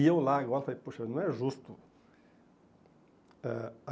E eu lá, falei, poxa, não é justo. Ãh